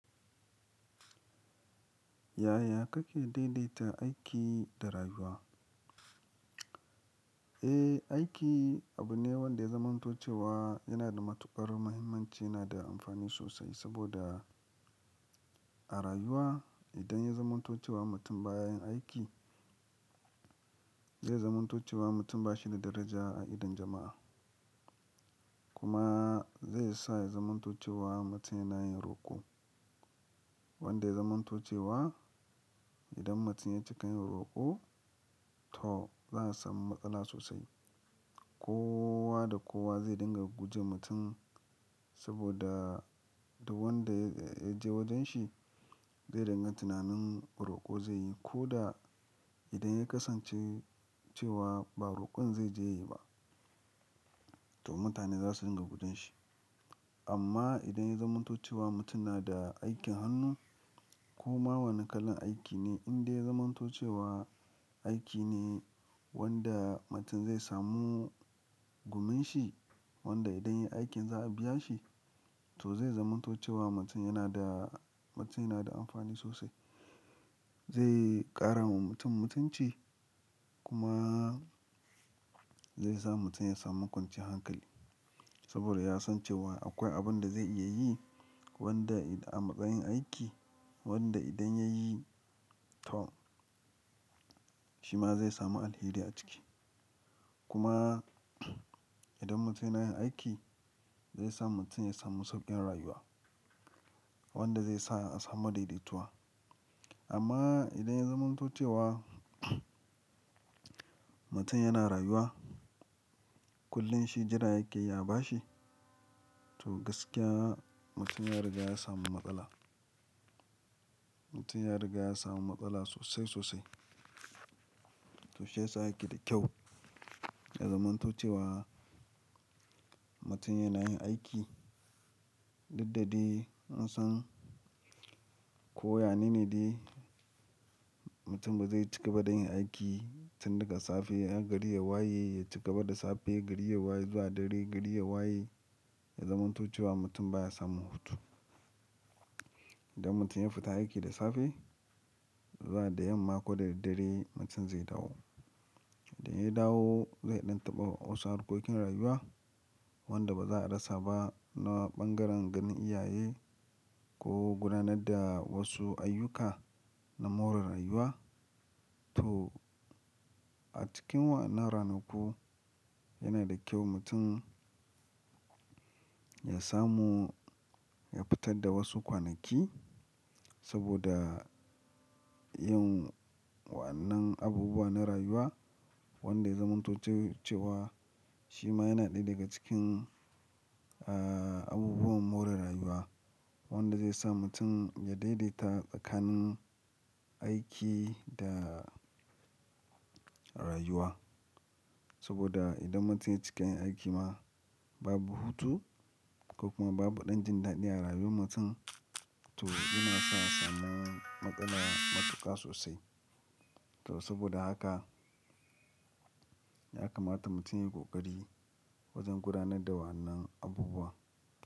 Yaya kake daidaita aiki da rayuwa? Eh, aiki abu ne wanda ya zamantuce wa yana da matuƙar muhimmanci yana da amfani sosai saboda a rayuwa idan ya zamantuce wa mutum ba ya yin aiki, zai zamantuce wa mutum ba shi da daraja a idon jama'a. Kuma zai sa ya zamantuce wa mutum yana yin roƙo, wanda ya zamantuce wa idan mutum ya cika yin roƙo to za'a samu matsala sosai. Kowa da kowa zai dinga guje mutum saboda duk wanda ya je wajen shi zai ranga tunanin roƙo zai yi ko da idan ya kasance cewa ba roƙon zai je yi ba to mutane za su dinga gudun shi. Amma idan ya zamanto cewa mutum na da aikin hannu ko ma wani kalan aiki ne in dai ya zamantuce wa aiki ne wanda mutum zai samu gumin shi wanda idan ya yi aikin za a biya shi to zai zamanto cewa mutum yana da, mutum yana da amfani sosai. Zai ƙara wa mutum mutunci kuma zai sa mutum ya samu kwanciyar hankali saboda ya san cewa akwai abun da zai iya yi wanda a matsayin aiki wanda idan ya yi to shi ma zai samu alheri a ciki. Kuma idan mutum yana yin aiki zai sa mutum ya samu sauƙin rayuwa wanda zai sa a samu daidaituwa. Amma idan ya zamanto cewa mutum yana rayuwa, kullum shi jira yake a ba shi to gaskiya mutum ya riga ya samu matsala. Mutum ya riga ya samu matsala sosai sosai. To shiyasa ake da kyau ya zamanto cewa mutum yana yin aiki. Daddare in san ko yanini ne mutum bazai cigaba da yin aiki tun daga safe har gari ya waye ya cika da safe gari ya waye zuwa dare gari ya waye ya zamanto cewa mutum baya samun hutu. Idan mutum ya fita aiki da safe zuwa da yamma ko da daddare mutum zai dawo. Da ya dawo zai ɗan taɓa wasu harkokin rayuwa wanda ba za a rasa ba na ɓangaren ganin iyaye ko gudanar da wasu ayyuka na more rayuwa. To a cikin wannan ranaku yana da kyau mutum ya samu ya fitar da wasu kwanaki saboda yin wannan abubuwa na rayuwa wanda ya zamantuce cewa shi ma yana ɗaya daga cikin, eh, abubuwan more rayuwa wanda zai sa mutum ya daidaita tsakanin aiki da rayuwa. Saboda idan mutum ya cika yin aiki ma babu hutu ko kuma babu ɗan jin daɗi a rayuwar mutum to yana sa samun matsala matuƙa sosai. To saboda haka ya kamata mutum ya yi ƙoƙari wajen gudanar da wannan abubuwa.